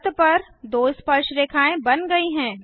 वृत्त पर दो स्पर्शरेखाएँ बन गई हैं